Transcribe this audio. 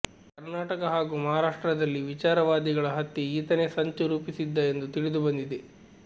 ಕರ್ನಾಟಕ ಹಾಗೂ ಮಹಾರಾಷ್ಟ್ರದಲ್ಲಿ ವಿಚಾರವಾದಿಗಳ ಹತ್ಯೆ ಈತನೇ ಸಂಚು ರೂಪಿಸಿದ್ದ ಎಂದು ತಿಳಿದು ಬಂದಿದೆ